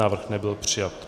Návrh nebyl přijat.